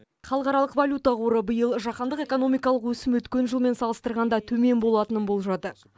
халықаралық валюта қоры биыл жаһандық экономикалық өсім өткен жылмен салыстырғанда төмен болатынын болжады